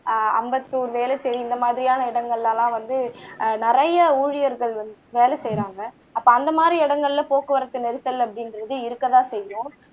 ஆஹ் அம்பத்தூர் வேலுசை இந்த மாதிரியான இடங்கள்ல எல்லாம் வந்து ஆஹ் நிறைய ஊழியர்கள் வந்து வேலை செய்றாங்க அப்ப அந்தமாதிரி இடங்கள்ல போக்குவரத்து நெரிசல் அப்படிங்குறது இருக்கதான் செய்யும்